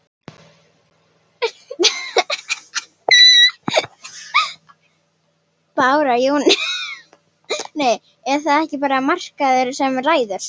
Bára Jóhannesdóttir: Er það ekki bara markaðurinn sem ræður?